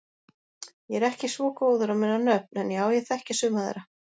Ég er ekki svo góður að muna nöfn en já ég þekki suma þeirra.